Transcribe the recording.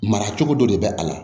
Mara cogo dɔ de bɛ a la